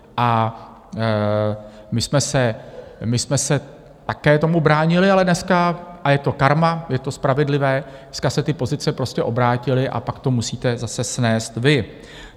A my jsme se také tomu bránili, ale dneska - a je to karma, je to spravedlivé - dneska se ty pozice prostě obrátily a pak to musíte zase snést vy.